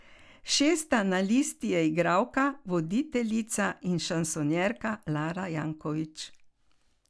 Šesta na listi je igralka, voditeljica in šansonjerka Lara Jankovič.